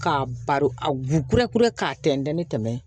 K'a baro a gurɛkurannin tɛmɛn